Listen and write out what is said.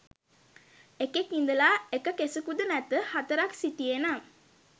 එකෙක් ඉඳලා එක කෙසකුදු නැත හතරක් සිටියේ නම්